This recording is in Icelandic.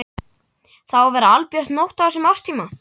Það á að vera albjört nótt á þessum árstíma.